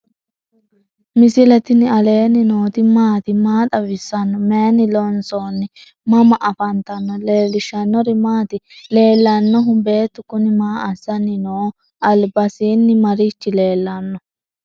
misile tini alenni nooti maati? maa xawissanno? Maayinni loonisoonni? mama affanttanno? leelishanori maati? leelanohu beetu kuni maa asani noho? albasini marichi lelano?